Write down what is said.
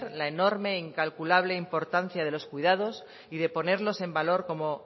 la enorme e incalculable importancia de los cuidados y de ponerlos en valor como